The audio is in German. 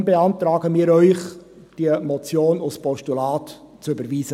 Deshalb beantragen wir Ihnen, diese Motion als Postulat zu überweisen.